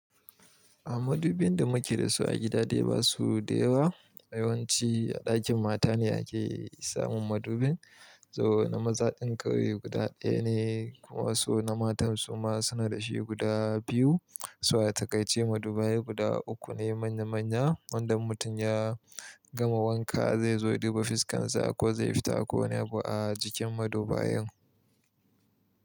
A madubin da muke da su a gida dai ba su da yawa. Yawan ci a ɗakin mata ne ake samun madubin. Toh na maza ɗin kawai guda ɗaya ne kuma su na matan su ma suna da shi guda biyu, so a takaice madubai guda uku ne manya manya. Wanda in mutum ya gama wanka zai zo duba fiskan sa ko zai fita ko wani abu a jikin madubayan.